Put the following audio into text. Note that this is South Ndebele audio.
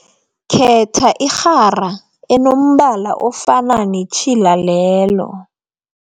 Khetha irhara enombala ofana netjhila lelo.